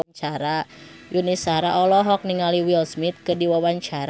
Yuni Shara olohok ningali Will Smith keur diwawancara